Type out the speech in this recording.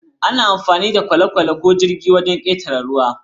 Ana amfani da kwale-kwale ko jirgin ruwa don ƙetare ruwa.